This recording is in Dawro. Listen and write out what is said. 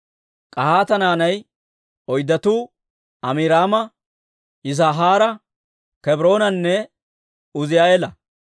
K'ahaata naanay oyddatuu Amiraama, Yis'ihaara, Kebroonanne Uuzi'eela.